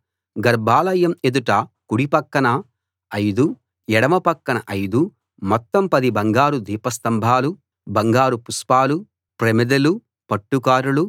గర్భాలయం ఎదుట కుడి పక్కన 5 ఎడమ పక్కన 5 మొత్తం పది బంగారు దీపస్తంభాలు బంగారు పుష్పాలు ప్రమిదెలు పట్టుకారులు